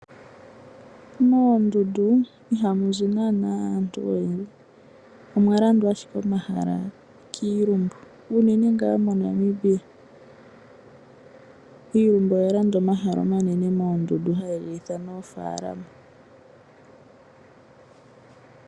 Moondundu iha mu zi naana aantu oyendji omwa landwa ashike omahala kiilumbu unene nga moNamibia iilumbu oya landa omahala omanene moondundu haye gi ithana oofalama.